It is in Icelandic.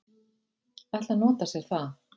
ætla að nota sér það.